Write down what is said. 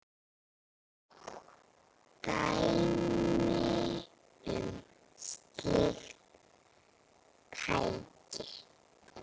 Dæmi um slík tæki